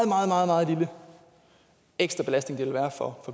meget meget meget lille ekstra belastning det vil være for